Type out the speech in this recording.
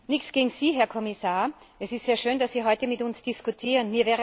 Nichts gegen Sie, Herr Kommissar! Es ist sehr schön, dass Sie heute mit uns diskutieren.